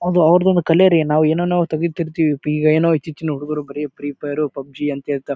ಅದು ಅವ್ರದು ಒಂದು ಕಲೆ ರೀ ನಾವು ಏನನ್ನೋ ತಗಿತಿರ್ತೇವಿ ಇಗ ಏನೋ ಹುಚ್ಚುಚಿನ ಹುಡುಗರು ಬರೇ ಫ್ರೀಫೈರ್ ಪಬ್ಜಿ ಅಂತೇ--